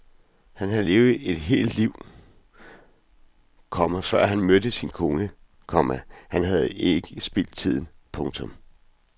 Han havde levet et helt liv, komma før han mødte sin kone, komma og han havde ikke spildt tiden. punktum